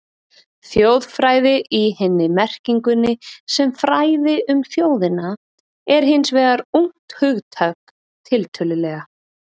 Þjóðfræði í hinni merkingunni, sem fræði um þjóðina, er hins vegar ungt hugtak, tiltölulega.